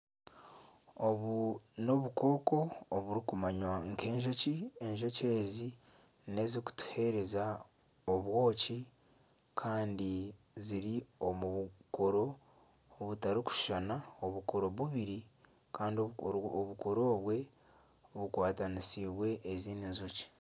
Obu n'obukooko oburikumanywa nk'enjoki. Enjoki ezi nezikutuheereza obwoki kandi ziri omu bukoro butarikushushana. Obukoro bubiri kandi obukoro obwe bukwatanisiibwe ezindi njoki.